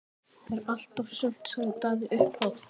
Það var allt og sumt, sagði Daði upphátt.